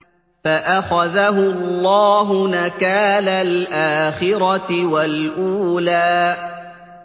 فَأَخَذَهُ اللَّهُ نَكَالَ الْآخِرَةِ وَالْأُولَىٰ